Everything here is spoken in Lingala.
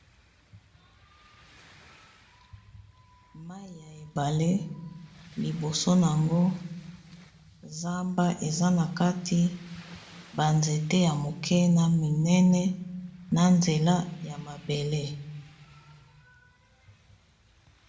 Mayi ya ebale liboso nango zamba eza na kati ba nzete ya moke na minene na nzela ya mabele.